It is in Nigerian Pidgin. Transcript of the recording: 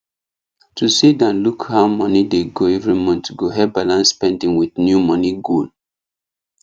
to sit down look how money dey go every month go help balance spending with new money goal